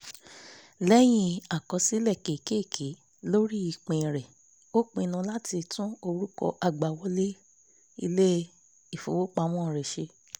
lẹ́yìn àkọsílẹ̀ kékèké lórí pin rẹ̀ ó pinnu láti tún orúkọ àgbàwọlé ilé-ifowopamọ́ rẹ̀ ṣe